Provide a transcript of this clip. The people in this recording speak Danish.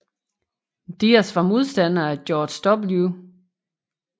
Diaz var modstander af George W